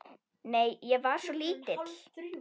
Nei, ég var svo lítil.